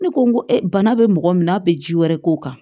Ne ko n ko e bana be mɔgɔ min na a be ji wɛrɛ k'o kan